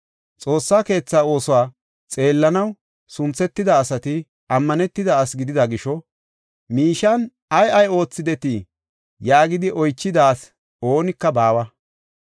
Xoossa keetha oosuwa xeellanaw sunthetida asati ammanetida asi gidida gisho, “Miishiyan ay ay oothidetii?” yaagidi oychida asi oonika baawa.